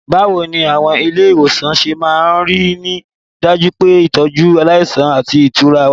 Báwo ni àwọn ilé ìwòsàn ṣe máa ń rí i dájú pé ìtọ́jú aláìsàn àti ìtura wà?